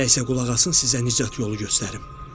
“Elə isə qulaq asın, sizə nicat yolu göstərim.